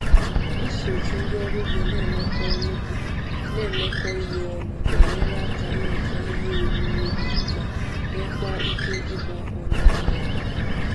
Iso otu ndị ọrụ ugbo na-emekọ ọrụ ugbo na-emekọ ihe ọnụ na-enyere aka ịnweta ihe oriri ugbo ma nwekwaa ike ịgba ọnụahịa.